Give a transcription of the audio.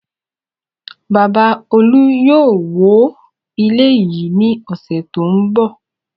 Bàbá Olú yóò wó ilé yìí ní ọ̀sẹ̀ tó ń bọ̀.